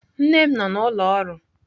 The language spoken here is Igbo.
Nne m nọ n'ụlọ ọrụ.